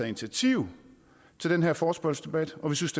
initiativ til den her forespørgselsdebat og vi synes